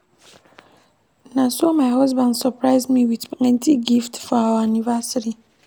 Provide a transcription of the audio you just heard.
Na so my husband surprise me wit plenty gift for our anniversary.